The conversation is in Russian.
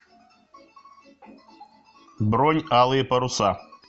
бронь алые паруса